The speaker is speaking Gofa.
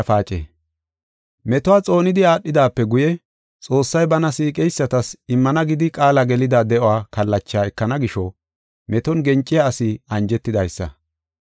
Metuwa xoonidi aadhidaape guye, Xoossay bana siiqeysatas immana gidi qaala gelida de7o kallachaa ekana gisho, meton genciya asi anjetidaysa.